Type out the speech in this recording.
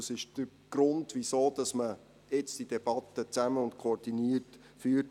Das ist der Grund, weshalb man jetzt die Debatte zusammen und koordiniert führt.